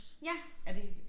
Ja